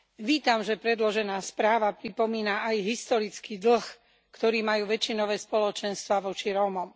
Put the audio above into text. Vítam, že predložená správa pripomína aj historický dlh, ktorý majú väčšinové spoločenstvá voči Rómom.